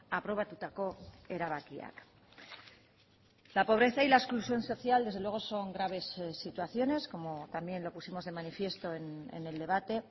aprobatutako erabakiak la pobreza y la exclusión social desde luego son graves situaciones como también lo pusimos de manifiesto en el debate